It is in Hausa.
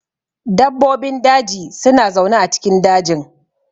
Dabbobin daji suna zaune a cikin dajin.